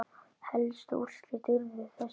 Helstu úrslit urðu þessi